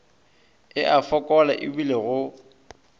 e a fokola ebile go